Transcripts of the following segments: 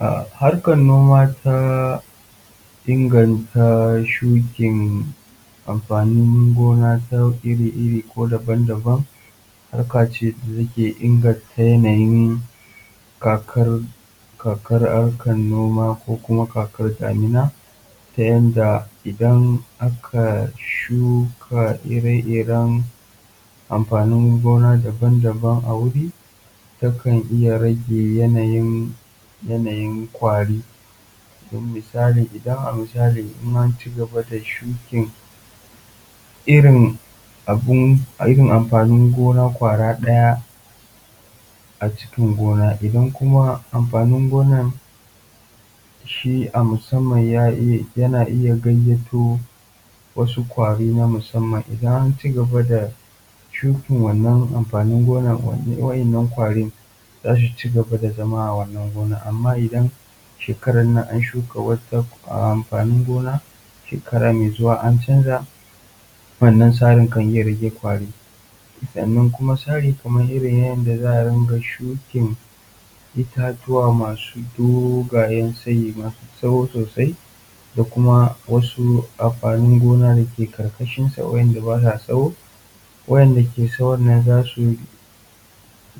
um Harkar noma ta inganta shukin amfanin gona ta iri iri ko daban-daban harka ce da take inganta yanayin kakar kakar harkan noma ta yanda idan aka shuka ire iren amfanin gona daban-daban a wuri takan iya rage yanayin yanayin kwari misali, idan a misali in ancigaba da shukin irin abin amfanin gona kwara daya cikin gona idan kuma amfanin gonan shi yana iya gayyato wasu kwari na musamman. Idan an ci gaba da irin wannan shuki wadannan wayyinan kwarin zasu cigaba da zama a wannan gonan amma idan shekaran nan an shuka wannan amfani gona shekara me zuwa an canja wannan sarin kan iya rage kwari, sannan kuma sari kaman irin yanda za a yin shukin itatuwa ma su dogayen sayi maso tsawo sosai da kuma wasu amfanin gona dake karkashin sa wadanda basa tsawo wayanda ke sawon nan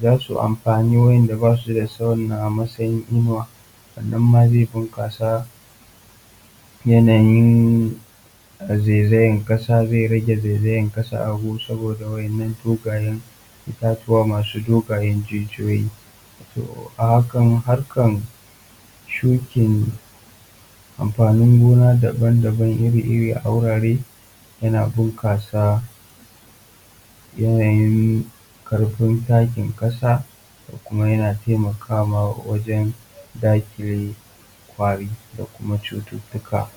zasu amafi wanda basu tsawon nan a masayin inuwa wannan ma zi bunkasa yanayin zaizayan kasa, zai rage zaizayan kasa a gu saboda wannan dogayen itatuwa masu dogayen jijiyoyi, um a hakan harkan shukin amfanin gona da ban iri iri a wurare yana bunkasa yanayin karfin takin kasa da kuma yana taimakawa wajen dakile kwari da kuma cututtuka.